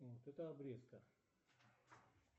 а вот это обрезка